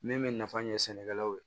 Min bɛ nafa ɲɛ sɛnɛkɛlaw ye